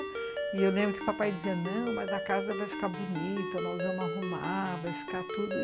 E eu lembro que o papai dizia, não, mas a casa vai ficar bonita, nós vamos arrumar, vai ficar tudo.